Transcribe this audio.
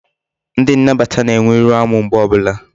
Ndi nnabata na-enwe iru amu mgbe obula